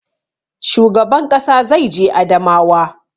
Shugaban ƙasa zai je Adamawa